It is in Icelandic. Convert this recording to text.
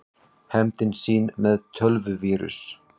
Hefndi sín með tölvuvírus